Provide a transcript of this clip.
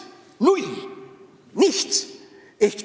" Null, nichts!